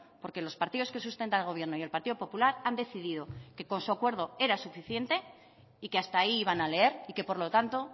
porque los partidos que sustentan al gobierno y el partido popular han decidido que con su acuerdo era suficiente y que hasta ahí iban a leer y que por lo tanto